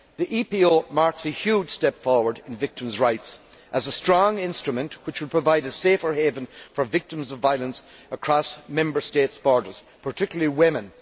The EPO marks a huge step forward in victims' rights as a strong instrument which will provide a safer haven for victims of violence across Member States' borders, particularly women.